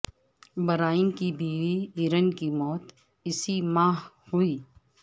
Brian کی بیوی Erin کی موت اسی ماہ ہوئی